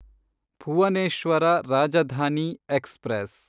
Bhubaneswar Rajdhani express